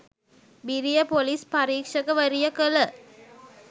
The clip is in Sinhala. බිරිය ‍පොලිස් පරීක්ෂකවරිය කළ